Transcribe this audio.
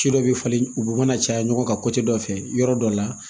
Ci dɔ be falen u be mana caya ɲɔgɔn kan dɔ fɛ yɔrɔ dɔ la